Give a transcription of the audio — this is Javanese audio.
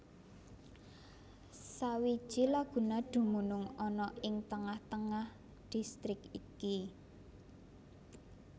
Sawiji laguna dumunung ana ing tengah tengah distrik iki